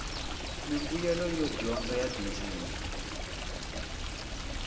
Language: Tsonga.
mimbuyelo yo dyondza ya tindzimi